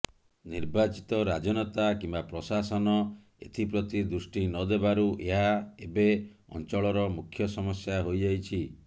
ନିର୍ବାଚିତ ରାଜନେତା କିମ୍ବା ପ୍ରଶାସନ ଏଥିପ୍ରତି ଦୃଷ୍ଟି ନଦେବାରୁ ଏହା ଏବେ ଅଂଚଳର ମୂଖ୍ୟ ସମସ୍ୟା ହୋଇ ଯାଇଛି